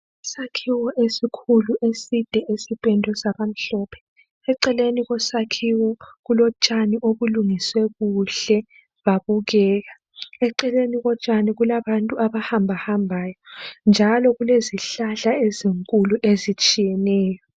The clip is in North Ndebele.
Isakhiwo esikhulu eside sipendwe saba mhlophe, eceleni kwesakhiwo kulotshani obulungiswe kuhle babukeka. Eceleni kotshani kulabantu abahambahambayo njalo kulezihlahla ezinkulu ezitshiyeneyo.